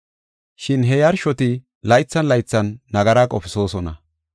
Shin he yarshoti laythan laythan nagara qofisoosona.